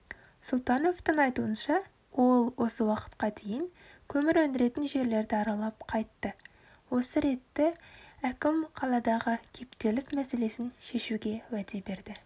сұлтановтың айтуынша ол осы уақытқа дейін көмір өндіретін жерлерді аралап қайтты осы ретті әкім қаладағы кептеліс мәселесін шешуге уәде берді